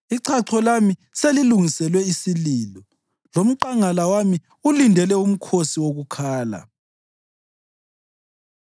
Ichacho lami selilungiselwe isililo, lomqangala wami ulindele umkhosi wokukhala.”